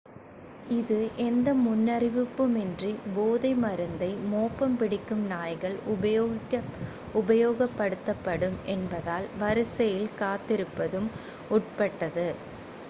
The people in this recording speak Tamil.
இது எந்த முன்னறிவிப்புமின்றி போதை மருந்தை மோப்பம் பிடிக்கும் நாய்கள் உபயோகப்படுத்தப்படும் என்பதால் வரிசையில் காத்திருப்பதும் உட்பட்டது